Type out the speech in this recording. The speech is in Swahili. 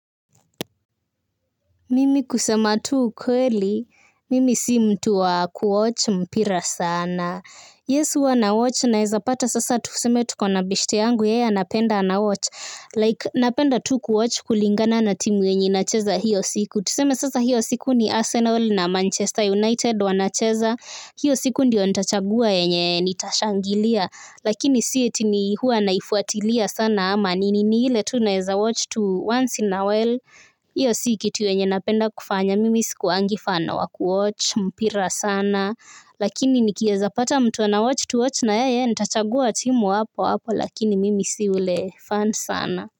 Mimi kusema tu ukweli, mimi si mtu wa kuwatch mpira sana. Yes, huwa na watch naweza pata sasa tuseme tukona beshte yangu, yeye anapenda ana watch. Like, napenda tu kuwatch kulingana na timu yenye inacheza hiyo siku. Tuseme sasa hiyo siku ni Arsenal na Manchester United wanacheza. Hiyo siku ndio ntachagua yenye nitashangilia. Lakini si eti ni huwa naifuatilia sana ama. Ni ni ile tu naweza watch to once in a while, iyo si kitu yenye napenda kufanya mimi sikuangi fan wa kuwatc mpira sana lakini nikieza pata mtu ana watch tu watch na yeye nitachagua timu hapo hapo lakini mimi si ule fan sana.